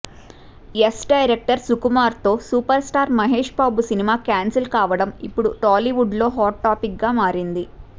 ఏస్ director సుకుమార్తో super star Mahesh Babu cinema cancel కావడం ఇప్పుడు టాలీవుడ్లో హాట్ టాపిక్గా మారింది